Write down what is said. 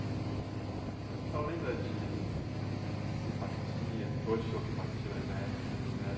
A senhora lembra de, essas simpatias, que hoje chama simpatia, mas na época não era...